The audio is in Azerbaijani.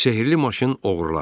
Sehirli maşın oğrulanır.